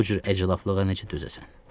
Bu cür əclaflığa necə dözəsən?